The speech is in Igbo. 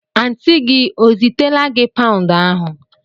Antịị gị ọ zitela gị paụnd ahụ?